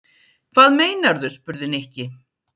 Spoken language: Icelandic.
Hvað meinarðu? spurði Nikki.